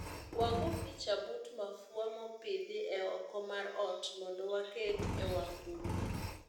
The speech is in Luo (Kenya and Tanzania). Wago picha but mafua mopidhi e oko mar ot mondo waket e wang' buk